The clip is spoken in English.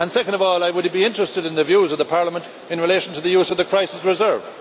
Secondly, I would be interested in the views of Parliament in relation to the use of the crisis reserve.